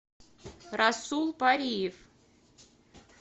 расул париев